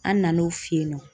An nan'o fe yen nɔ